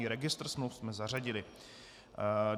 I registr smluv jsme zařadili.